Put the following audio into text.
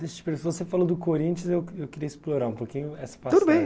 Desde que você falou do Corinthians, eu queria explorar um pouquinho essa passagem, tudo bem.